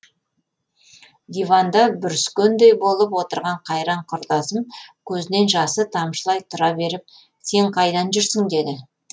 диванда бүріскендей болып отырған қайран құрдасым көзінен жасы тамшылай тұра беріп сен қайда жүрсің деді